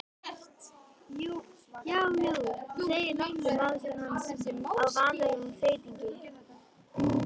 Já, jú, þú segir nokkuð, másar hann á vanalegum þeytingi.